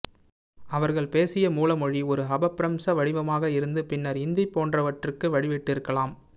அவர்கள் பேசிய மூலமொழி ஒரு அபப்பிரஹ்ம்ச வடிவமாக இருந்து பின்னர் இந்தி போன்றவற்றுக்கு வழிவிட்டிருக்கலாம்